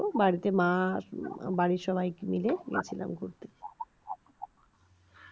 বাড়িতে মা বাড়ির সবাই মিলে গেছিলাম ঘুরতে